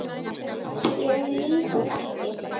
Ég lýg ekki neitt.